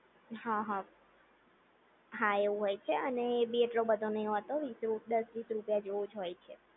હા હા, હા એવું હોય છે અને એ બી એટલો બધો નઇ હોતો વીસ દશ વીસ રૂપિયા જેવુજ હોય છે